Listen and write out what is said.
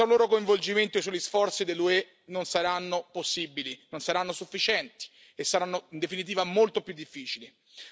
Senza il loro coinvolgimento i soli sforzi dell'UE non saranno possibili, non saranno sufficienti e saranno in definitiva molto più difficili.